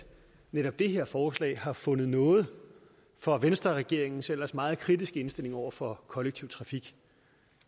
netop det her forslag har fundet nåde for venstreregeringens ellers meget kritiske indstilling over for kollektiv trafik